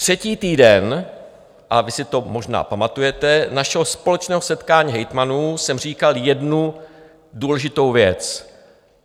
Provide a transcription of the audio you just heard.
Třetí týden - a vy si to možná pamatujete - našeho společného setkání hejtmanů jsem říkal jednu důležitou věc.